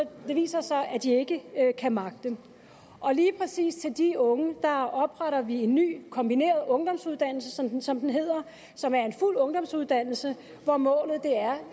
viser sig at de ikke kan magte lige præcis for de unge opretter vi en ny kombineret ungdomsuddannelse som den som den hedder som er en fuld ungdomsuddannelse hvor målet er